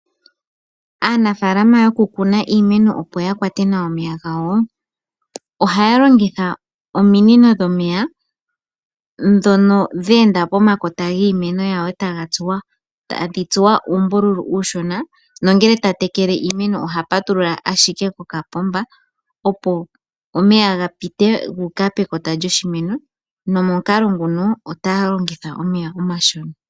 Aanafaalama yoku Kuna iimeno opo yakwate nawa omeya gawo, ohaya longitha ominino dhomeya dhono dheenda pokati kiimeno yawo e tadhi tsuwa uumbuthulu uushona, nongele tatekele iimeno oha patulula ashike ko kapomba opo omeya gapite guuka pekota lyoshimeno, nomukalo nguno otaya longitha omeya omashona.